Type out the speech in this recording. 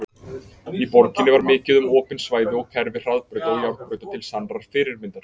Í borginni var mikið um opin svæði og kerfi hraðbrauta og járnbrauta til sannrar fyrirmyndar.